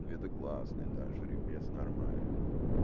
это классный да жеребец нормальный